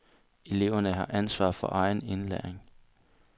Eleverne har ansvar for egen indlæring.